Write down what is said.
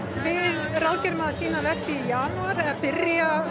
við ráðgerum að sýna verkið í janúar eða að byrja